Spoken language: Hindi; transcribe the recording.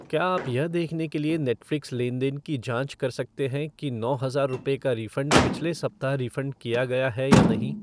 क्या आप यह देखने के लिए नेटफ़्लिक्स लेन देन की जाँच कर सकते हैं कि नौ हजार रुपए का रिफ़ंड पिछले सप्ताह रिफ़ंड किया गया है या नहीं